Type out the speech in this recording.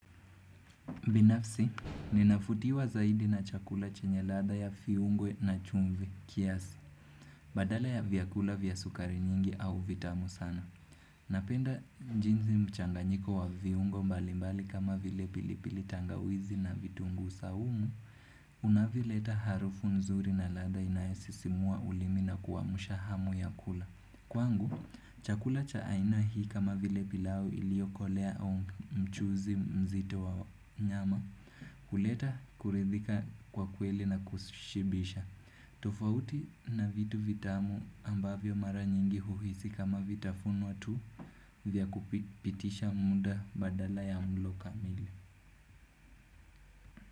Binafsi, ninavutiwa zaidi na chakula chenye ladha ya viungo na chumvi kiasi, badala ya vyakula vya sukari nyingi au vitamu sana. Napenda jinsi mchanganyiko wa viungo mbalimbali kama vile pilipili tangawizi na vitunguu saumu, unavyoleta harufu nzuri na ladha inayosisimua ulimi na kuwamusha hamu ya kula. Kwangu, chakula cha aina hii kama vile pilau iliyokolea au mchuzi mzito wa nyama huleta kuridhika kwa kweli na kushibisha. Tofauti na vitu vitamu ambavyo mara nyingi huhisi kama vitafunwa tu vya kupitisha muda badala ya mlo kamili.